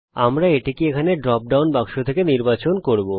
আমরা এটিকে এখানে ড্রপ ডাউন বাক্স থেকে নির্বাচন করব